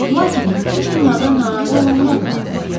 Lakin bütün bunlardan narazı olanlar da tapılırdı.